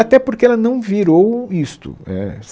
Até porque ela não virou isto é